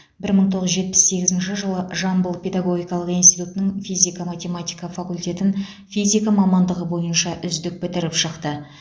бір мың тоғыз жетпіс сегізінші жылы жамбыл педагогикалық институтының физика математика факультетін физика мамандығы бойынша үздік бітіріп шықты